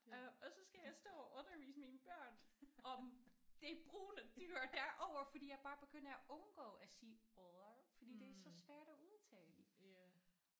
Øh og så skal jeg stå og undervise mine børn om det brune dyr derovre fordi jeg bare begynder at undgå at sige odder fordi det er så svært at udtale